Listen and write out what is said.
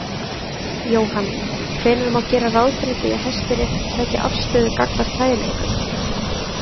Jóhann: Hvenær má gera ráð fyrir því að Hæstiréttur taki afstöðu gagnvart kæru ykkar?